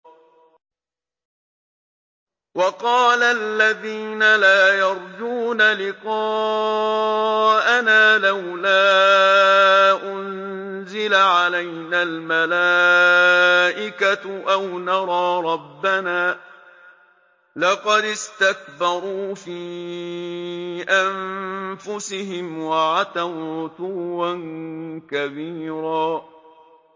۞ وَقَالَ الَّذِينَ لَا يَرْجُونَ لِقَاءَنَا لَوْلَا أُنزِلَ عَلَيْنَا الْمَلَائِكَةُ أَوْ نَرَىٰ رَبَّنَا ۗ لَقَدِ اسْتَكْبَرُوا فِي أَنفُسِهِمْ وَعَتَوْا عُتُوًّا كَبِيرًا